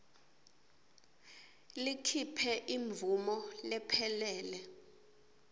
likhiphe imvumo lephelele